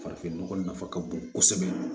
Farafin nɔgɔ nafa ka bon kosɛbɛ